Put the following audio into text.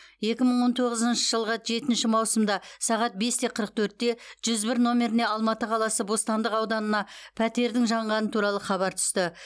екі мың он тоғызыншы жылғы жетінші маусымда сағат бес те қырық төртте жүз бір нөмеріне алматы қаласы бостандық ауданына пәтердің жанғаны туралы хабар түсті